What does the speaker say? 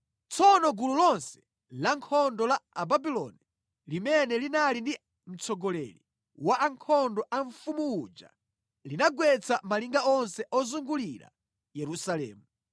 Tsono gulu lonse lankhondo la Ababuloni limene linali ndi mtsogoleri wa ankhondo a mfumu uja linagwetsa malinga onse ozungulira Yerusalemu.